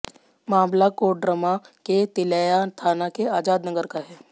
मामला कोडरमा के तिलैया थाना के आजाद नगर का है